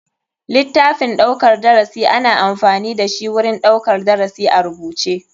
Litaffin ɗaukar darasi ana amfani dashi wurin ɗaukar darasi a rubuce.